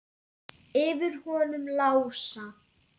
Yfir honum Lása?